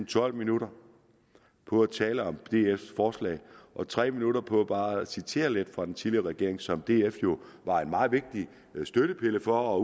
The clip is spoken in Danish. tolv minutter på at tale om dfs forslag og tre minutter på bare at citere lidt fra den tidligere regering som df jo var en meget vigtig støttepille for og